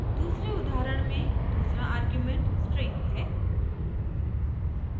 दूसरे उदाहरण में दूसरा आर्ग्युमेंट स्ट्रिंग है